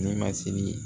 Ne ma sigi